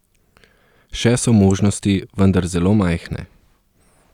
Še so možnosti, vendar zelo majhne.